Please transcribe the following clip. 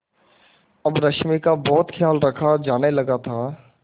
अब रश्मि का बहुत ख्याल रखा जाने लगा था